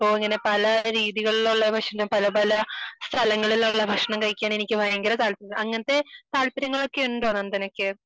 അപ്പൊ ഇങ്ങനെ പല രീതികളുള്ള ഭക്ഷണം പല പല സ്ഥലങ്ങളിലുള്ള ഭക്ഷണം കഴിക്കാൻ എനിക്ക് ഭയങ്കര താല്പര്യമാണ് അങ്ങനത്തെ താല്പര്യങ്ങളൊക്കെയുണ്ടോ നന്ദനക്ക്